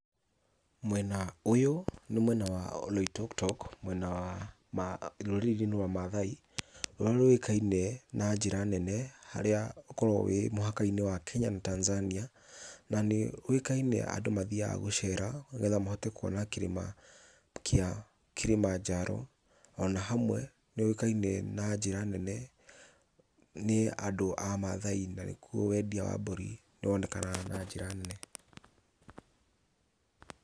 Mwena ũyũ nĩ mwena wa oloitoktok, mwena wa rũrĩrĩ-inĩ rwa maathai rũrĩa rũĩkaine na njĩra nene harĩa ũkoragwo mũhaka-inĩ wa Kenya na Tanzania, na nĩ ũĩkaine andũ mathiaga gũcera, nĩgetha mahote kuona kĩrĩma kĩa Kĩrĩmanjaro, ona hamwe nĩ gũĩkaine na njĩra nene, nĩ andũ a mathai, na nĩkuo wendia wa mburi wonekanaga na njĩra nene.